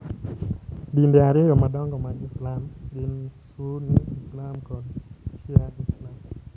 Dinde ariyo madongo mag Islam gin Sunni Islam kod Shia Islam.